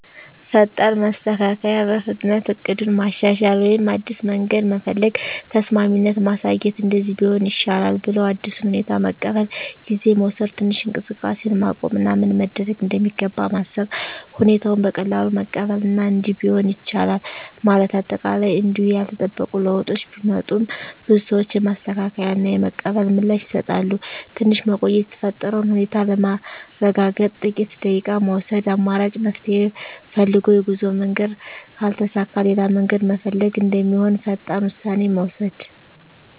ፈጣን ማስተካከያ – በፍጥነት እቅዱን ማሻሻል ወይም አዲስ መንገድ መፈለግ። ተስማሚነት ማሳየት – “እንደዚህ ቢሆን ይሻላል” ብለው አዲሱን ሁኔታ መቀበል። ጊዜ መውሰድ – ትንሽ እንቅስቃሴን ማቆም እና ምን መደረግ እንደሚገባ ማሰብ። ሁኔታውን በቀላሉ መቀበል እና “እንዲህ ቢሆንም ይቻላል” ማለት። አጠቃላይ እንዲሁ ያልተጠበቁ ለውጦች ቢመጡም፣ ብዙ ሰዎች የማስተካከያ እና የመቀበል ምላሽ ይሰጣሉ። ትንሽ መቆየት – የተፈጠረውን ሁኔታ ለማረጋገጥ ጥቂት ደቂቃ መውሰድ። አማራጭ መፍትሄ ፈልግ – የጉዞ መንገድ ካልተሳካ ሌላ መንገድ መፈለግ እንደሚሆን ፈጣን ውሳኔ መውሰድ።